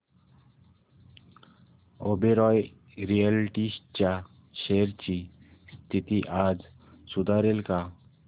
Oberoi realty च्या shares ची स्थिती आज सुधारेल का